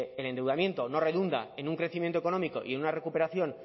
el endeudamiento no redunda en un crecimiento económico y en una recuperación